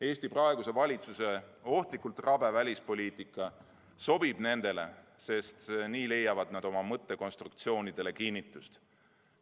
Eesti praeguse valitsuse ohtlikult rabe välispoliitika sobib neile, sest nii leiavad nad oma mõttekonstruktsioonidele kinnitust.